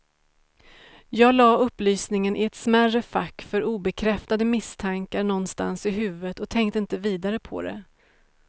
Jag lade upplysningen i ett smärre fack för obekräftade misstankar någonstans i huvudet och tänkte inte vidare på det.